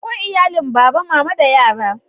Akwai iyalin baba, mama da yara.